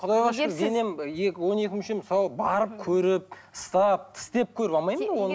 құдайға шүкір денем он екі мүшем сау барып көріп ұстап тістеп көріп алмаймын ба оны